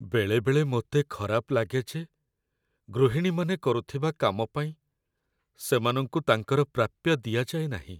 ବେଳେବେଳେ ମୋତେ ଖରାପ ଲାଗେ ଯେ ଗୃହିଣୀମାନେ କରୁଥିବା କାମ ପାଇଁ ସେମାନଙ୍କୁ ତାଙ୍କର ପ୍ରାପ୍ୟ ଦିଆଯାଏ ନାହିଁ।